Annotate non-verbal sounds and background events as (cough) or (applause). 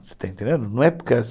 Você está entendendo? Não é por (unintelligible)